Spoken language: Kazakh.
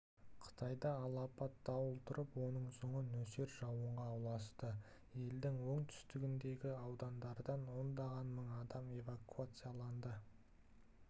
қытайда алапат дауыл тұрып оның соңы нөсер жауынға ұласты елдің оңтүстігіндегі аудандардан ондаған мың адам эвакуацияланды